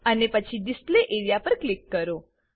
અને પછી display area પર ક્લિક કરો